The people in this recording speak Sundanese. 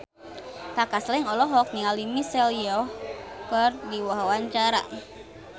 Kaka Slank olohok ningali Michelle Yeoh keur diwawancara